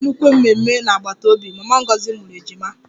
E nwere nnukwu mmemme n'agbata obi, mama Ngozi mụrụ ejima